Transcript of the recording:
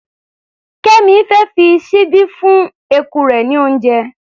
Kẹ́mì fẹ́ fi ṣíbí fún eku rẹ̀ ní oúnjẹ.